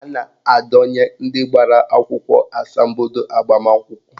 A na-adọnye ndị gbara akwụkwọ asambodo agbamakwụkwọ